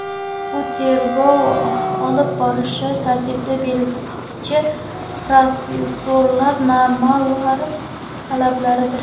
Bu tergov olib borish tartibini belgilovchi protsessual normalar talabidir.